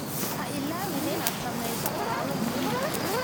Ha iloobin inaad sameyso qoraallo muhiim ah.